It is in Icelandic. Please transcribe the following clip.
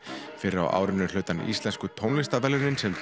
fyrr á árinu hlaut hann íslensku tónlistarverðlaunin sem